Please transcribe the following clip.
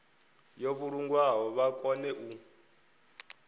yo vhulungwaho vha kone u